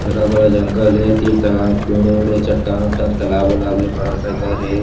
हरा-भरा जंगल हे तीर तखार म पेड़ वेड हे चट्टान वट्टान तालाब वालाब हे बड़ा सा घर हे।